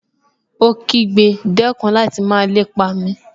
Ó kígbe, dẹ́kun láti máa lépa mi!